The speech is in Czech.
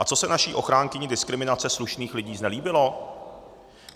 A co se naší ochránkyni diskriminace slušných lidí znelíbilo?